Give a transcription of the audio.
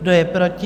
Kdo je proti?